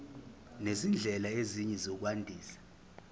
nezindlela ezinye zokwandisa